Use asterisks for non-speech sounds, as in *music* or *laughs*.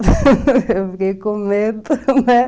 *laughs* Eu fiquei com medo, né?